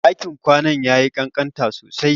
Ɗakin kwanan yayi kankanta sosai.